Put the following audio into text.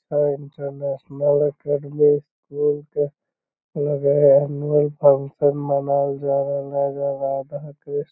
ये international academy school के नजर आ रहलियो फंक्शन मनावल जा रहल ऐजा राधा कृष्ण _-